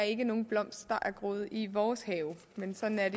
ikke er nogen blomst der er groet i vores have men sådan er